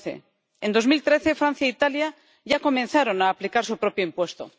2011. En 2013, Francia e Italia ya comenzaron a aplicar su propio impuesto.